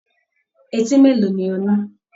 Eti mélòó ni o ní?